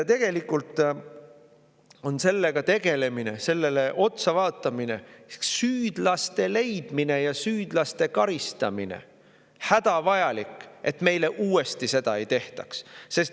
Tegelikult on sellega tegelemine, sellele otsa vaatamine, süüdlaste leidmine ja süüdlaste karistamine hädavajalik, et meile seda uuesti ei tehtaks.